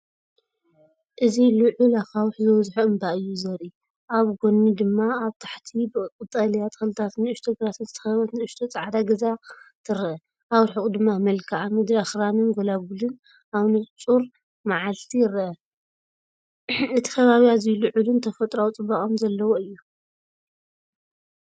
እዚ ልዑል ኣኻውሕ ዝበዝሖ እምባ እዩ ዘርኢ። ኣብ ጐድኒ ድማ ኣብ ታሕቲ ብቐጠልያ ተኽልታትን ንእሽቶ ግራትን ዝተኸበበት ንእሽቶ ጻዕዳ ገዛ ትርአ። ኣብ ርሑቕ ድማ መልክዓ ምድሪ ኣኽራንንጎላጉልን ኣብ ንጹር መዓልቲ ይርአ። እቲ ከባቢ ኣዝዩ ልዑልን ተፈጥሮኣዊጽባቐ ዘለዎን እዩ።